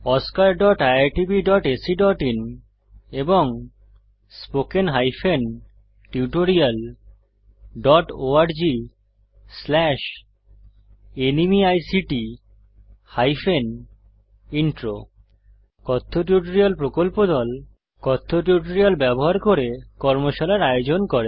oscariitbacআইএন এবং spoken tutorialorgnmeict intro কথ্য tutorial প্রকল্প দল কথ্য টিউটোরিয়াল ব্যবহার করে কর্মশালার আয়োজন করে